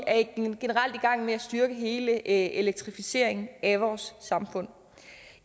gang med at styrke hele elektrificeringen af vores samfund